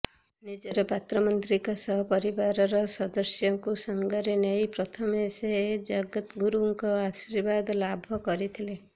ନିଜର ପାତ୍ରମନ୍ତ୍ରୀଙ୍କ ସହ ପରିବାର ସଦସ୍ୟଙ୍କୁ ସାଙ୍ଗରେ ନେଇ ପ୍ରଥମେ ସେ ଜଗଦ୍ଗୁରୁଙ୍କ ଆଶୀର୍ବାଦ ଲାଭ କରିଥିଲେ